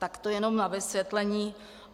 Tak to jenom na vysvětlení.